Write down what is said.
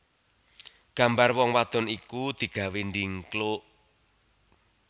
Gambar wong wadon iku digawé ndhingkluk